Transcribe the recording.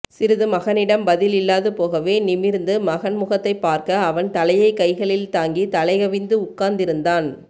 சிறிது மகனிடம் பதில் இல்லாது போகவே நிமிர்ந்து மகன் முகத்தை பார்க்க அவன் தலையை கைகளில் தாங்கி தலைகவிந்து உட்கார்ந்திருந்தான்